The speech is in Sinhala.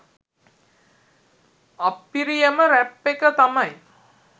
අප්පිරියම රැප් එක තමයි